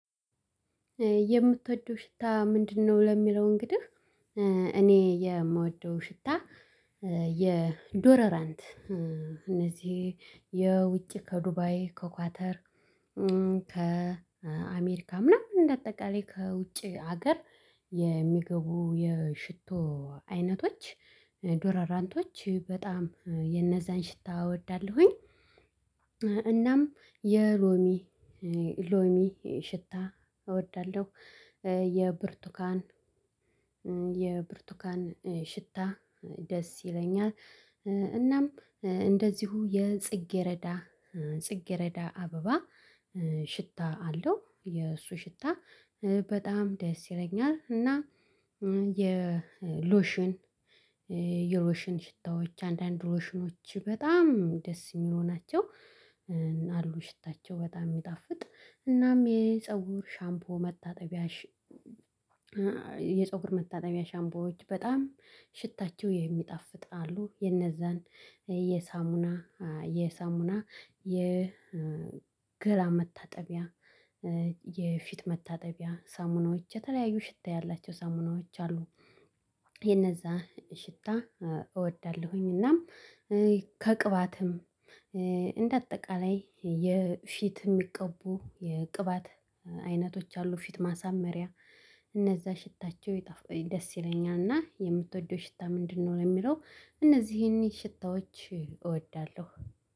የምትወደው ሽታ ምንድነው? ለሚለው እንግዲህ እኔ የምወደው ሽታ። የዶረራንት እነዚህ የውጭ ከዱባይ ከኳተር ከአሜሪካ ምናምን እንደ አጠቃላይ ከውጪ ሀገር የሚገቡ የሽቶ አይነቶች ዶረራንቶች በጣም የነዛን ሽታ እወዳለሁኝ። እናም የሎሚ ሎሚ ሽታ እወዳለሁ የብርቱካን የብርቱካን ሽታ ደስ ይለኛል። እናም እንደዚሁ የጽጌረዳ ጽጌረዳ አበባ ሽታ አለው የእሱ ሽታ በጣም ደስ ይለኛል። እና የሎሽን የሎሽን ሽታዎች አንዳንድ ሎሽኖች በጣም ደስ የሚሉ ናቸው። አሉ ሽታቸው በጣም የሚጣፍጥ እናም የፀጉር ሻምፖ መታጠቢያ የፀጉር መታጠቢያ ሻምፖዎች በጣም ሽታቸው የሚጣፍጥ አሉ። የነዛን የሳሙና የሳሙና የገላ መታጠቢያ የፊት መታጠቢያ ሳሙናዎች የተለያዩ ሽታ ያላቸው ሳሙናዎች አሉ የነዛ ሽታ እወዳለሁኝ። እናም ከቅባትም እንደ አጠቃላይ የፊት የሚቀቡ የቅባት አይነቶች አሉ ፊት ማሳመሪያ እነዛ ሽታቸው ይጣፍ ደስ ይለኛል። እና የምትወደው ሽታ ምንድነው ነው የሚለው? እነዚህን ሽታዎች እወዳለሁ።